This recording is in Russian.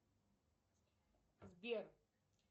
сбер